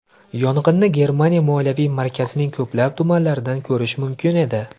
Yong‘inni Germaniya moliyaviy markazining ko‘plab tumanlaridan ko‘rish mumkin edi.